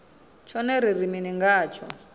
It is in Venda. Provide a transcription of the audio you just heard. tshone ri ri mini ngatsho